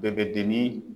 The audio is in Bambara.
Bɛɛ bɛ den ni